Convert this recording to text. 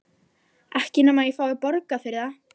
Ekki nema ég fái borgað fyrir það.